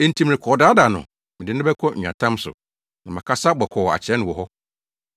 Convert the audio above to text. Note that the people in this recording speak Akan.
“Enti merekɔdaadaa no; mede no bɛkɔ nweatam so na makasa bɔkɔɔ akyerɛ no wɔ hɔ.